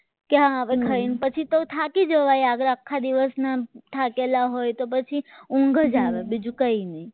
કે હવે ખાઈને પછી તો થાકી જવા આખા દિવસના થાકેલા હોય તો પછી ઊંઘ જ આવે બીજું કંઈ નહીં